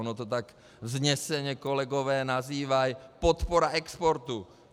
Ono to tak vzneseně kolegové nazývají - podpora exportu.